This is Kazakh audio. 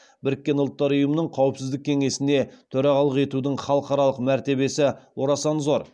біріккен ұлттар ұйымының қауіпсіздік кеңесіне төрағалық етудің халықаралық мәртебесі орасан зор